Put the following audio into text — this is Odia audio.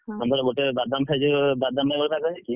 ସେପଟେ ଗୋଟେ, ବାଦାମ ପାଇଁ ପାଗ ହେଇଛି,